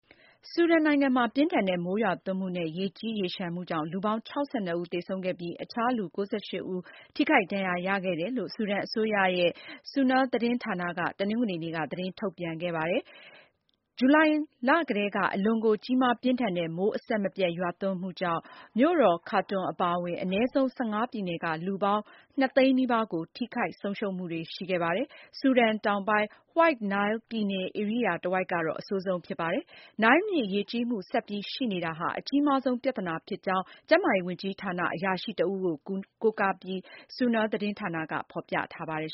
ဆူဒန်နိုင်ငံမှာ ပြင်းထန်တဲ့ မိုးရွာသွန်းမှုနဲ့ ရေကြီးရေလျှံမှုကြောင့် လူပေါင်း ၆၂ ဦး သေဆုံးခဲ့ပြီး အခြား လူ ၉၈ ဦး ထိခိုက်ဒဏ်ရာရခဲ့တယ်လို့ ဆူဒန်အစိုးရရဲ့ SUNA သတင်းဌာနက တနင်္ဂနွေနေ့က သတင်းထုတ်ပြန်ခဲ့ပါတယ်။ ဇူလိုင်လကတည်းက အလွန်ကို ကြီးမားပြင်းထန်တဲ့ မိုးအဆက်မပြတ် ရွာသွန်းမှုကြောင့် မြို့တော် ခါတွန်အပါအဝင် အနည်းဆုံး ၁၅ ပြည်နယ်က လူပေါင်း ၂၀၀,၀၀၀ နီးပါးကို ထိခိုက်ဆုံးရှုံးမှုတွေ ရှိခဲ့ပါတယ်။ ဆူဒန်တောင်ပိုင်း White Nile နိုင်းလ် ပြည်နယ် ဧရိယာတဝိုက်ကတော့ အဆိုးဆုံးဖြစ်ပါတယ်။ နိုင်းလ်မြစ် ရေကြီးမှု ဆက်ပြီးရှိနေတာဟာ အကြီးမားဆုံး ပြဿနာဖြစ်ကြောင်း ကျန်းမာရေးဝန်ကြီးဌာန အရာရှိတဦးကို ကိုးကားပြီး SUNA သတင်းဌာနက ဖော်ပြထားပါတယ်